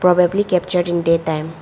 Probably captured in day time.